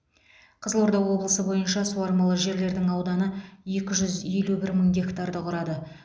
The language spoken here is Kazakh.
қызылорда облысы бойынша суармалы жерлердің ауданы екі жүз елу бір мың гектарды құрады